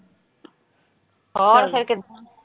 ਹੋਰ ਫਿਰ ਕਿੱਦਾ।